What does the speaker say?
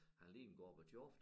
Han lignede Gorbatjov